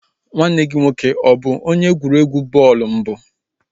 Nwanne gị nwoke abụ onye egwuregwu bọọlụ mbụ?